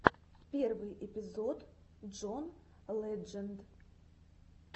первый эпизод джон ледженд